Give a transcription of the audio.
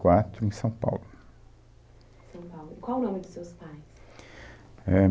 quatro em São Paulo. São Paulo. E qual o nome dos seus pais? É...